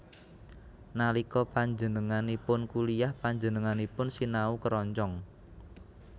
Nalika panjenenganipun kuliyah panjenenganipun sinau keroncong